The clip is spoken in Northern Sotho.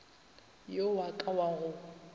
yo wa ka wa go